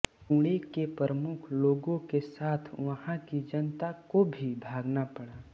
पुणे के प्रमुख लोगों के साथ वहाँ की जनता को भी भागना पड़ा